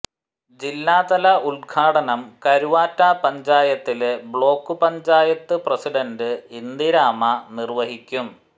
ജില്ലാതല ഉദ്ഘാടനം കരുവാറ്റ പഞ്ചായത്തില് ബ്ലോക്ക് പഞ്ചായത്ത് പ്രസിഡന്റ് ഇന്ദിരാമ്മ നിര്വഹിക്കും